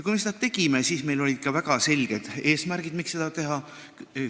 Kui me seda tegime, siis meil olid ka väga selged eesmärgid, miks seda teha.